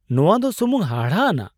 ᱱᱚᱶᱟ ᱫᱚ ᱥᱩᱢᱩᱝ ᱦᱟᱦᱟᱲᱟᱜ ᱟᱱᱟᱜ !